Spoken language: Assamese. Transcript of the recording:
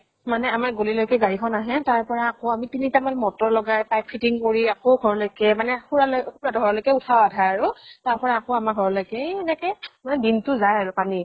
মানে আমাৰ গলি লৈকে গাড়ীখন আহে, তাৰ পৰা আকৌ আমি তিনিটা মান motor লগাই pipe fitting কৰি আকৌ ঘৰলৈকে মানে খুড়া লৈ খুড়া হঁতৰ ঘৰলৈ উঠায় আধা আৰু। তাৰ পৰা আকৌ ঘৰলৈকে এই এনেকে দিন টো যায় আৰু পানী।